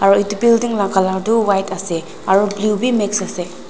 Aro etu building la colour tuh white ase aro blink bhi mix ase.